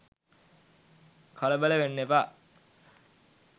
කලබල වෙන්න එපා